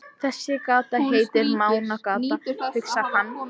Þessi gata heitir Mánagata, hugsar hann.